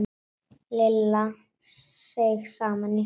Lilla seig saman í sætinu.